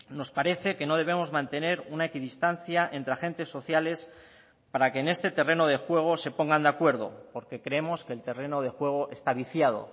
nos parece que no debemos mantener una equidistancia entre agentes sociales para que en este terreno de juego se pongan de acuerdo porque creemos que el terreno de juego está viciado